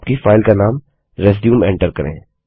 तो आपकी फाइल का नाम रिज्यूम एन्टर करें